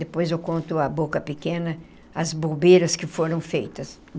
Depois eu conto a boca pequena, as bobeiras que foram feitas.